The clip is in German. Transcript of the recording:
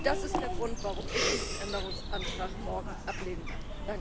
Das ist der Grund, warum ich diesen Änderungsantrag morgen ablehnen werde.